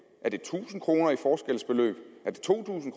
er det tusind kroner i forskelsbeløb er det to tusind